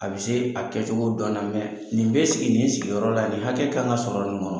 A bɛ se a kɛcogo dɔn na nin bɛ sigi nin sigiyɔrɔ la nin hakɛ kan ka sɔrɔ nin kɔnɔ.